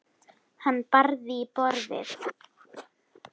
Hann barði í borðið.